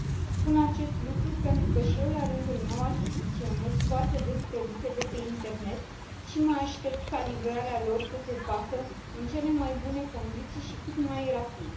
Spun acest lucru pentru că și eu, la rândul meu, achiziționez foarte des produse de pe internet și mă aștept ca livrarea lor să se facă în cele mai bune condiții și cât mai rapid.